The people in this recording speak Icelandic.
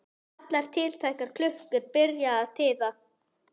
Allar tiltækar klukkur byrja að tifa.